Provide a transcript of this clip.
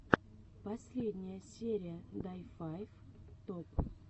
последняя серия дай файв топ